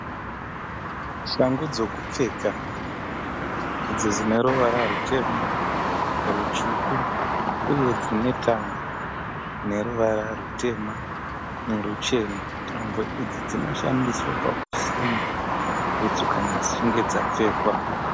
Shangu dzokupfeka. Idzi dzine ruvara rutema, rutsvuku uye dzine tambo dzine ruvara rutema neruchena. Tambo idzi dzinoshandiswa pakusunga bhutsu kana dzichinge dzapfekwa.